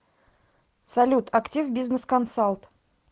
салют активбизнесконсалт